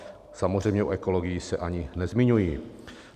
Samozřejmě o ekologii se ani nezmiňuji.